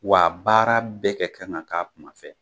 Wa a baara bɛɛ kɛ kan ka k'a kuma fɛ